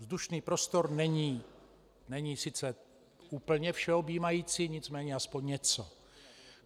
Vzdušný prostor není sice úplně všeobjímající, nicméně aspoň něco.